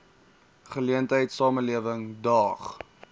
geleentheid samelewing daag